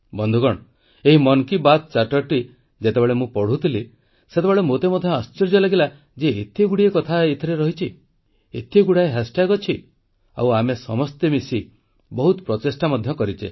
ବନ୍ଧୁଗଣ ଏହି ମନ୍ କୀ ବାତ୍ ଚାର୍ଟରଟି ଯେତେବେଳେ ମୁଁ ପଢ଼ୁଥିଲି ସେତେବେଳେ ମୋତେ ମଧ୍ୟ ଆଶ୍ଚର୍ଯ୍ୟ ଲାଗିଲା ଯେ ଏତେଗୁଡ଼ିଏ କଥା ଏଥିରେ ଅଛି ଏତେଗୁଡ଼ାଏ ହ୍ୟାଶ୍ଟ୍ୟାଗ୍ ଅଛି ଆମେ ସମସ୍ତେ ମିଶି ବହୁତ ପ୍ରଚେଷ୍ଟା ମଧ୍ୟ କରିଛେ